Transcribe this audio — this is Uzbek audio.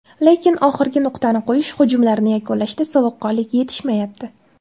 Lekin oxirgi nuqtani qo‘yish, hujumlarni yakunlashda sovuqqonlik yetishmayapti.